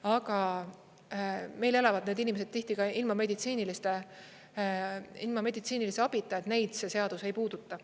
Aga meil elavad need inimesed tihti ka ilma meditsiinilise abita, neid see seadus ei puuduta.